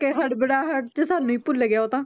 ਕਿ ਹੜਬੜਾਹਟ 'ਚ ਸਾਨੂੰ ਹੀ ਭੁੱਲ ਗਿਆ ਉਹ ਤਾਂ